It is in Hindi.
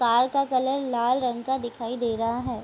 कार का कलर लाल रंग का दिखाई दे रहा है।